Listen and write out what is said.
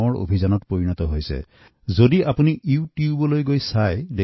আমি আজি স্বীকাৰ কৰিবই লাগিব যে ইয়াৰ এক বৃহৎ আন্দোলন গঢ় লৈছে